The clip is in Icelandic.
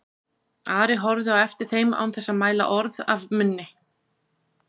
Ari horfði á eftir þeim án þess að mæla orð af munni.